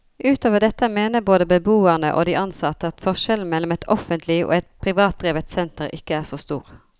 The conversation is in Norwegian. Utover dette mener både beboerne og de ansatte at forskjellen mellom et offentlig og et privatdrevet senter ikke er så stor.